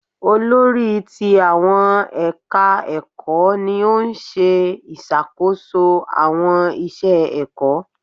Olórí ti àwọn ẹ̀ka ẹ̀kọ́ ni ó ń ṣe ìṣàkóso àwọn iṣẹ ẹ̀kọ́.